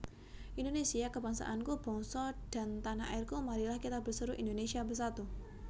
Indonésia kebangsaanku Bangsa dan tanah airku Marilah kita berseru Indonésia bersatu